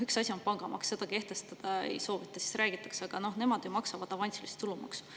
Üks asi on pangamaks, seda kehtestada ei soovita, räägitakse, et nemad ju maksavad avansilist tulumaksu.